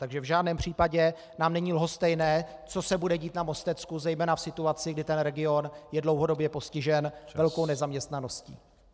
Takže v žádném případě nám není lhostejné, co se bude dít na Mostecku, zejména v situaci, kdy ten region je dlouhodobě postižen velkou nezaměstnaností.